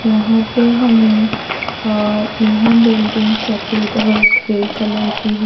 यहां पे हमें अह यह बिल्डिंग सफेद रंग की कलर की है।